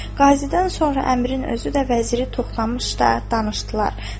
Qazidən sonra əmrin özü də vəziri toxlamışdı, danışdılar.